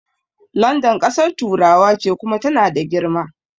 London ƙasar turawa ce Kuma tana da girma